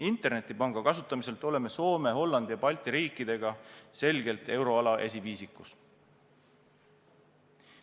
Internetipanga kasutamiselt oleme Soome, Hollandi ja Balti riikidega selgelt euroala esiviisikus.